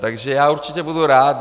Takže já určitě budu rád.